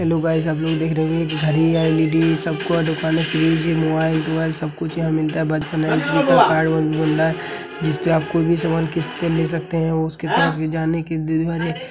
Hello guys आप लोग देख रहे हो घड़ी या एल.ई.डी सबको दुकाने फ्रीज मोबाइल सब कुछ यहाँ मिलता है। बर्तन स्पीकर और मिल रहा है। जिस पर आप कोई भी सामान किस्त पर ले सकते हैं। उसके पास ले जाने के --